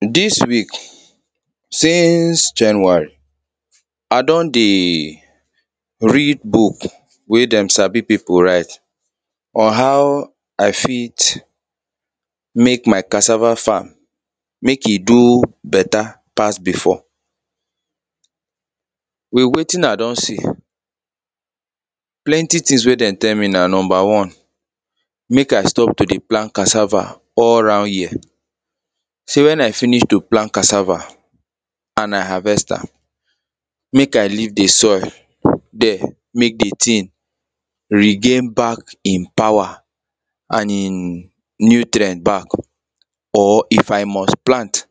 This week since January, I don read books wey them sabi people write on how I fit make my cassava farm, make e good better pass before with wetin I don see, plenty things wey them tell me na number one: make I stop to dey plant cassava all round year, say when I finish to plant cassava, and I harvest am, make I leave the soil there, make the thing regain back e power and e nutrient back or if I must plant,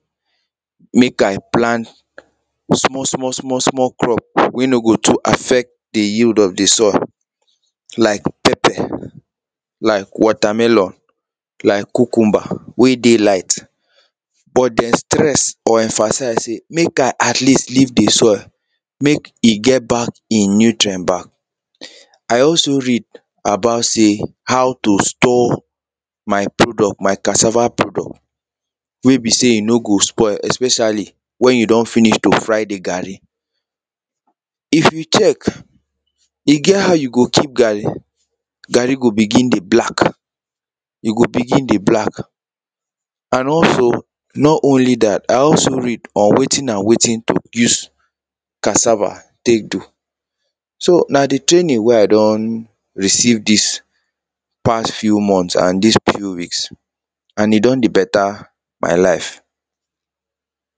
make I plant small, small, small crops wey no go too affect the yield of the soil like pepper, like watermelon, like cucumber wey dey light but them stress or emphasize say make I at least leave the soil, make e get back e nutrient back. I also read about say how to store my product, my cassava product wey e be say e no go spoil, especially when you don finish to fry the garri, if we check, e get how you go keep garri, garri go begin dey black, e go begin dey black and also, not only that, I also read on wetin and wetin to use cassava take do, so, na the training wey I don receive these past few months and these few weeks and e don dey better my life.